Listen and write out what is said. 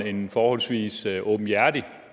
en forholdsvis åbenhjertig